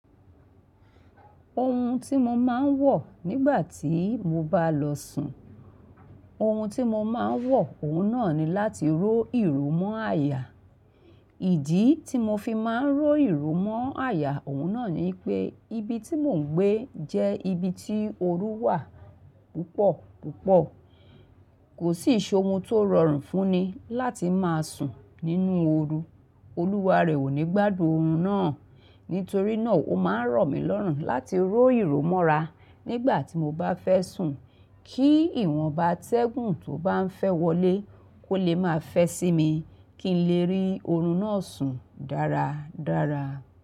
Ohun tí mo máa ń wọ̀ nígbà tí mo bá lọ sùn, ohun tí mo máa ń wọ̀, òun náà ni láti ró ìró mọ́ àyà. Ìdí tí mo fi máa ń ró ìró mọ́ àyà, òun náà ni pé ibi tí mò ń gbé jẹ́ ibi tí ooru wà púpọ̀ púpọ̀. Kò sí ṣe ohun tó rọrùn fún ni láti máa sùn nínú ooru. Olúwa rẹ̀ ò ní gbádùn oorun náà. Nítorí náà, ó máa ń ro mí lọ́rùn láti ró ìró mọ́ra nígbà tí mo bá fẹ́ sùn kí ìwọ̀n ba atẹ́gùn tó bá ń fẹ́ wọlé kó lè máa fẹ́ sí mi kí n lè rí oorun náà sùn dára dára.